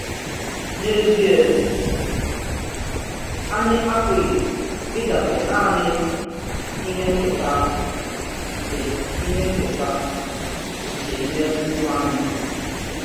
N’eziè, ànyì àpụ̀ghí ị̀dabere nànì ìhè nkètà nke ìhè nkètà nke ìmè mmụọ̀ anyị.